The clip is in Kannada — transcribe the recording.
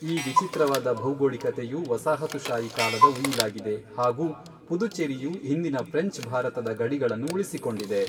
ಈ ವಿಚಿತ್ರವಾದ ಭೌಗೋಳಿಕತೆಯು ವಸಾಹತುಶಾಹಿ ಕಾಲದ ಉಯಿಲಾಗಿದೆ ಹಾಗು ಪುದುಚೇರಿಯು ಹಿಂದಿನ ಫ್ರೆಂಚ್ ಭಾರತದ ಗಡಿಗಳನ್ನು ಉಳಿಸಿಕೊಂಡಿದೆ.